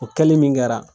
O kɛli min kɛra